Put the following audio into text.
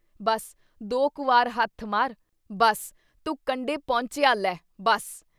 ਬੱਸ ਦੋ ਕੁ ਵਾਰ ਹੱਥ ਮਾਰ, ਬੱਸ ਤੁੰ ਕੰਢੇ ਪਹੁੰਚਿਆ ਲੈ, ਬੱਸ।